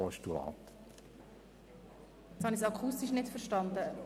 Jetzt habe ich Sie akustisch nicht verstanden.